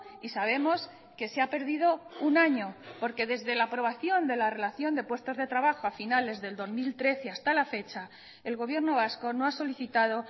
y sabemos que se ha perdido un año porque desde la aprobación de la relación de puestos de trabajo a finales del dos mil trece hasta la fecha el gobierno vasco no ha solicitado